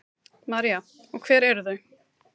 María: Og hver eru þau?